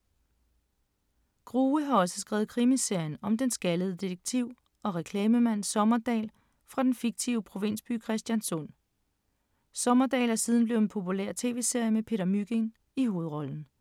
Grue har også skrevet krimiserien om den skaldede detektiv og reklamemand Sommerdahl fra den fiktive provinsby Christianssund. Sommerdahl er siden blevet en populær tv-serie med Peter Mygind i hovedrollen.